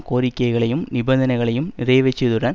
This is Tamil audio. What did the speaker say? கோரிக்கைகளையும் நிபந்தனைகளையும் நிறைவேற்றியதுடன்